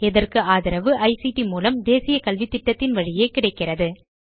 இதற்கு ஆதரவு ஐசிடி மூலம் தேசிய கல்வித்திட்டத்தின் வழியே கிடைக்கிறது